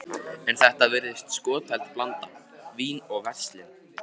En þetta virðist skotheld blanda: vín og verslun.